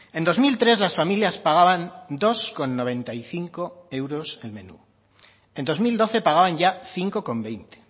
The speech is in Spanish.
en dos mil tres las familias pagaban dos coma noventa y cinco euros el menú en dos mil doce pagaban ya cinco coma veinte